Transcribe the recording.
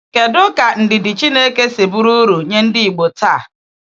Kedu ka ndidi Chineke si bụrụ uru nye ndị Ìgbò taa?